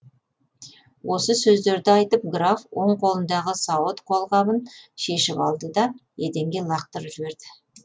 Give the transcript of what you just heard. осы сөздерді айтып граф оң қолындағы сауыт қолғабын шешіп алды да еденге лақтырып жіберді